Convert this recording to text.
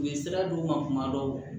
U ye sira di u ma kuma dɔw